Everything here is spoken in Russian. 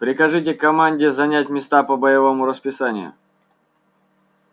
прикажите команде занять места по боевому расписанию